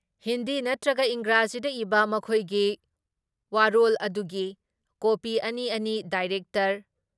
ꯍꯤꯟꯗꯤ ꯅꯠꯇ꯭ꯔꯒ ꯏꯪꯔꯥꯖꯤꯗ ꯏꯕ ꯃꯈꯣꯏꯒꯤ ꯋꯥꯌꯣꯜ ꯑꯗꯨꯒꯤ ꯀꯣꯄꯤ ꯑꯅꯤ ꯑꯅꯤ ꯗꯥꯏꯔꯦꯛꯇꯔ,